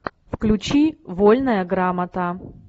включи вольная грамота